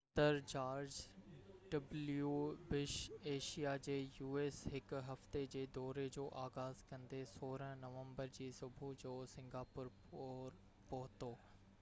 u.s. صدر George W Bush Asia جي هڪ هفتي جي دوري جو آغاز ڪندي 16 نومبر جي صبح جو سنگاپور پور پهتو